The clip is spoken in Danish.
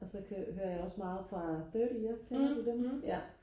og så hører jeg også meget fra thirty year kender du den ja